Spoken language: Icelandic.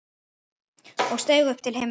og steig upp til himna